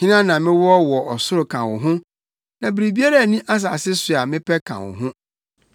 Hena na mewɔ wɔ ɔsoro ka wo ho? Na biribiara nni asase so a mepɛ ka wo ho.